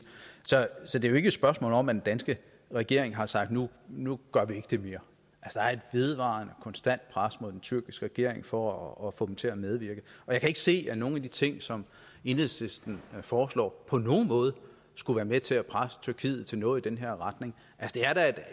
så det er jo ikke et spørgsmål om at den danske regering har sagt nu nu gør vi ikke det mere der er et vedvarende konstant pres mod den tyrkiske regering for at få dem til at medvirke og jeg kan ikke se at nogen af de ting som enhedslisten foreslår på nogen måde skulle være med til at presse tyrkiet til noget i den her retning